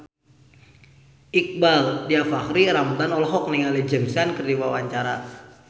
Iqbaal Dhiafakhri Ramadhan olohok ningali James Caan keur diwawancara